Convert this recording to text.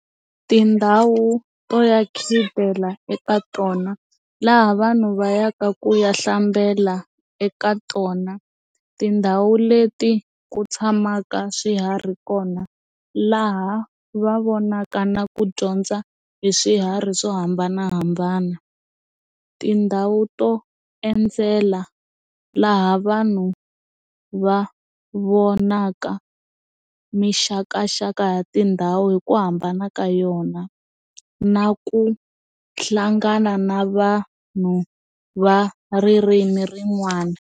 Tindhawu to ya khidela eka tona laha vanhu va ya ka ku ya hlambela eka tona tindhawu leti ku tshamaka swiharhi kona laha va vonaka na ku dyondza hi swiharhi swo hambanahambana tindhawu to endzela laha vanhu va vonaka mixakaxaka ya tindhawu hi ku hambana ka yona na ku hlangana na vanhu va ririmi rin'wana.